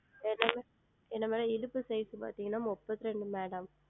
என்னது என்ன Madam இடுப்பு Size பார்த்தீர்கள் என்றால் முப்பத்திரெண்டு Madam